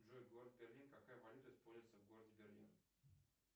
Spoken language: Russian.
джой город берлин какая валюта используется в городе берлин